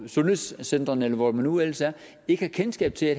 sundhedscentrene eller hvor man nu ellers er ikke har kendskab til at